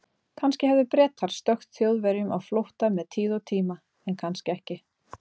Kannski hefðu Bretar stökkt Þjóðverjum á flótta með tíð og tíma, en kannski ekki.